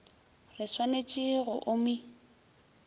re swanet e go omi